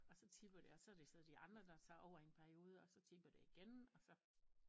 Og så tipper det og så er det så de andre der tager over i en periode og så tipper det igen og så